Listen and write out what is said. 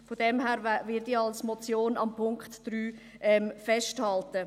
Von daher werde ich am Punkt 3 als Motion festhalten.